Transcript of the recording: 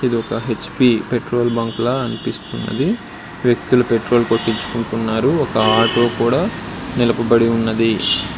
ఇది ఒక H P petrol bunk లా అనిపిస్తుంది వ్యక్తులు పెట్రోల్ కొట్టించుకుంటున్నారు ఒక ఆటో కూడా నిలపబడి ఉన్నది.